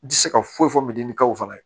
N tɛ se ka foyi fɔ min kaw fana ye